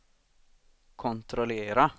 kontrollera